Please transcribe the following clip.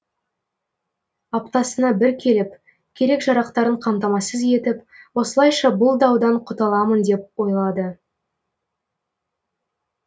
аптасына бір келіп керек жарақтарын қамтамасыз етіп осылайша бұл даудан құтыламын деп ойлады